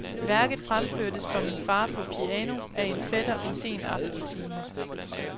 Værket fremførtes for min far på piano af en fætter en sen aftentime.